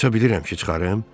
Aça bilirəm ki, çıxarım?